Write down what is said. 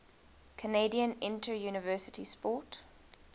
canadian interuniversity sport